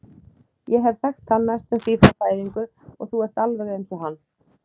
Ég hef þekkt hann næstum því frá fæðingu og þú ert alveg eins og hann.